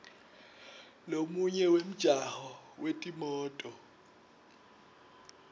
lomunye wemjaho wetimoto